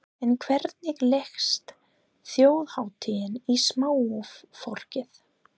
En hvernig leggst þjóðhátíðin í smáfólkið?